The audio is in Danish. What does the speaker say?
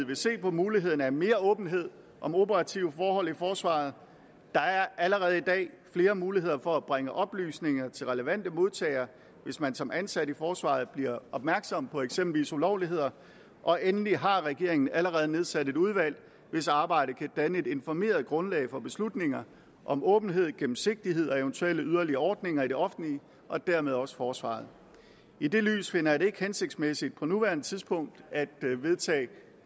vil se på mulighederne for mere åbenhed om operative forhold i forsvaret der er allerede i dag flere muligheder for at bringe oplysninger til relevante modtagere hvis man som ansat i forsvaret bliver opmærksom på eksempelvis ulovligheder og endelig har regeringen allerede nedsat et udvalg hvis arbejde kan danne et informeret grundlag for beslutninger om åbenhed gennemsigtighed og eventuelle yderligere ordninger i det offentlige og dermed også forsvaret i det lys finder jeg det ikke hensigtsmæssigt på nuværende tidspunkt at vedtage